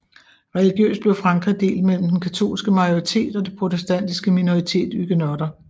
Religiøst blev Frankrige delt mellem den katolske majoritet og det protestantiske minoritet huguenotter